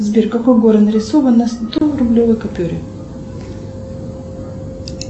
сбер какой город нарисован на сто рублевой купюре